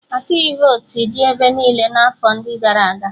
Atụghị votu dị ebe niile n'afọ ndị gara aga